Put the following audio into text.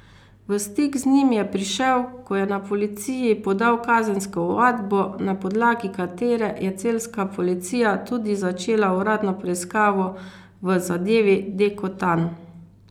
V stik z njim je prišel, ko je na policiji podal kazensko ovadbo, na podlagi katere je celjska policija tudi začela uradno preiskavo v zadevi Dekotan.